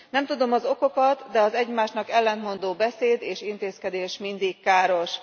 Nem tudom az okokat, de az egymásnak ellentmondó beszéd és intézkedés mindig káros.